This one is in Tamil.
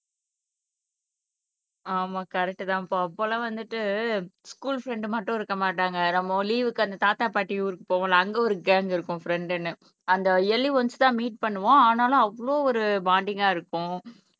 ஆமா கரெக்ட் தான்பா அப்போல்லாம் வந்துட்டு ஸ்கூல் ஃப்ரெண்ட் மட்டும் இருக்க மாட்டாங்க நம்ம லீவுக்கு அந்த தாத்தா பாட்டி ஊருக்கு போவோம்ல அங்க ஒரு கேங்க் இருக்கும் ஃப்ரெண்ட்ன்னு அந்த இயர்லி ஓன்ஸ் தான் மீட் பண்ணுவோம் ஆனாலும் அவ்வளவு ஒரு பாண்டிங்கா இருக்கும்